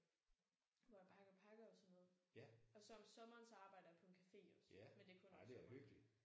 Hvor jeg pakker pakker og sådan noget. Og så om sommeren så arbejder jeg på en cafe også men det er kun om sommeren